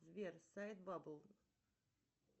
сбер сайт бабл